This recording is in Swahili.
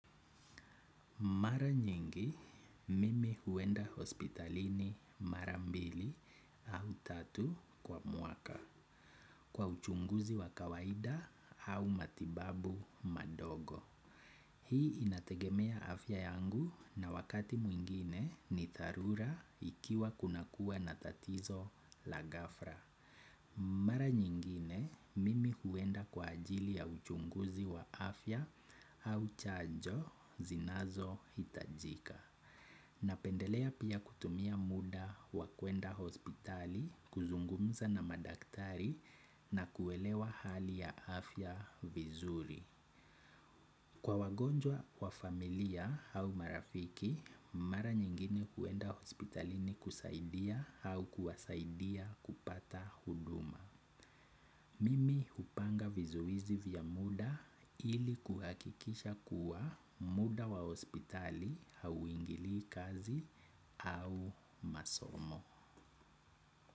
Mara nyingi, mimi huenda hospitalini mara mbili au tatu kwa mwaka kwa uchunguzi wa kawaida au matibabu madogo. Hii inategemea afya yangu na wakati mwingine ni dharura ikiwa kunakua na tatizo la ghafla. Mara nyingine mimi huenda kwa ajili ya uchunguzi wa afya au chanjo zinazo hitajika. Napendelea pia kutumia muda wa kuenda hospitali kuzungumza na madaktari na kuelewa hali ya afya vizuri. Kwa wagonjwa wa familia au marafiki, mara nyingine kuenda hospitalini kusaidia au kuwasaidia kupata huduma. Mimi hupanga vizuizi vya muda ili kuhakikisha kuwa muda wa hospitali hauingilii kazi au masomo.